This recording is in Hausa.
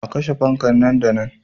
A kashe fanka nan da nan.